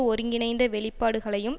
ஒருங்கிணைந்த வெளிப்பாடுகளையும்